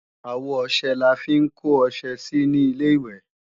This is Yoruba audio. Àwo ọṣẹ là ń fi kó ọṣẹ sí ní Ilé-ìwẹ̀